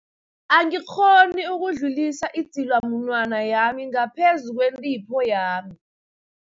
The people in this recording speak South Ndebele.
Angikghoni ukudlulisa idzilamunwana yami ngaphezu kwentipho yami.